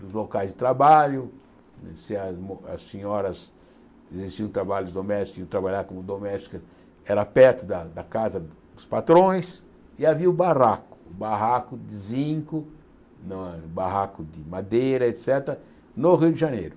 dos locais de trabalho, se as mo as senhoras exerciam trabalhos domésticos, iam trabalhar como domésticas, era perto da da casa dos patrões, e havia o barraco, barraco de zinco, ba barraco de madeira, et cétera, no Rio de Janeiro.